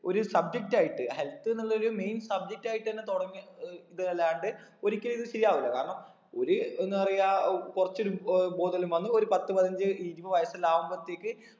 ഒരു subject ആയിട്ട് health ന്നുള്ള ഒരു main subject ആയിട്ട് തന്നെ തുടങ്ങി ഏർ ഇത് അല്ലാണ്ട് ഒരിക്കലും ഇത് ശരി ആവൂല കാരണം ഒര് എന്താ പറയാ ഏർ കുറച്ച് ഒരു ഏർ ബോധല്ലു വന്ന് ഒരു പത്തു പതിനഞ്ചു ഇരുപത് വയസെല്ലാം ആകുമ്പോത്തേക്ക്